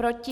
Proti?